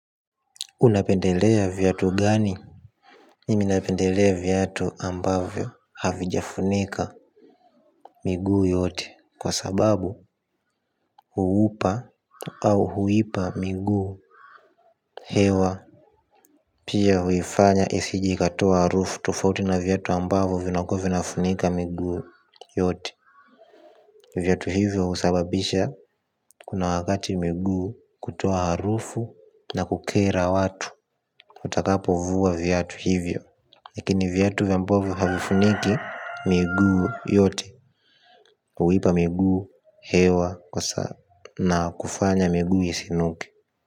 Unapendelea viatu gani? Nimi napendelea viatu ambavyo havijafunika miguu yote kwa sababu huupa au huipa miguu hewa. Pia huifanya isijeikatoa harufu tofauti na viatu ambavyo vinafunika miguu yote. Viatu hivyo husababisha kuna wakati miguu kutoa harufu na kukera watu. Utakapo vua viatu hivyo lakini viatu ambavyo havifuniki miguu yote huipa miguu, hewa, na kufanya miguu isinuke.